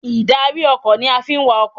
Ìdarí ọkọ̀ ni a fi ń wa ọkọ̀.